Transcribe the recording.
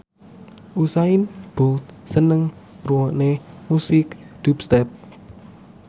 Usain Bolt seneng ngrungokne musik dubstep